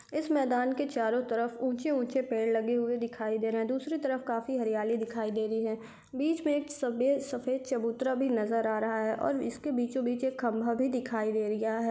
इस मैदान के चारो तरफ ऊँचे ऊँचे पेड़ लगे हुए दिखाई दे रहे हैं दूसरी तरफ काफी हरियाली दिखाई दे रही है बीच में एक सफे सफेद चबूतरा भी नजर आ रहा ह और इसके बीचों बीच एक खम्भा भी दिखाई दे रिया है।